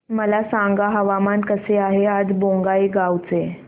मला सांगा हवामान कसे आहे आज बोंगाईगांव चे